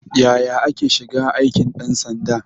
Yaya ake shiga aikin ɗan sanda?